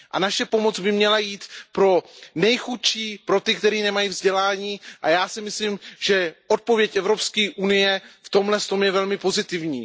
A naše pomoc by měla jít pro nejchudší, pro ty, kteří nemají vzdělání, a já si myslím, že odpověď Evropské unie v tomhle je velmi pozitivní.